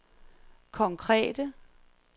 konkrete